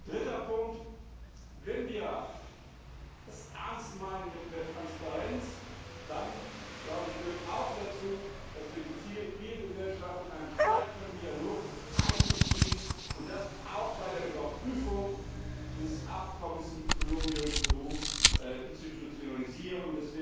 Dritter Punkt Wenn wir es ernst meinen mit mehr Transparenz, dann gehört auch dazu, dass wir die Zivilgesellschaft in einen stärkeren Dialog einbeziehen und das auch bei der Überprüfung dieses Abkommens mit Kolumbien und Peru institutionalisieren.